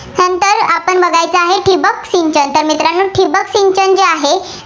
ठिबक सिंचन. तर मित्रांनो ठिबक सिंचन जे आहे